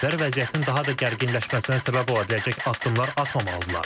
Tərəflər vəziyyətin daha da gərginləşməsinə səbəb ola biləcək addımlar atmamalıdırlar.